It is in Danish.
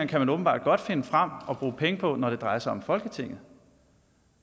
kan man åbenbart godt finde frem og bruge penge på når det drejer sig om folketinget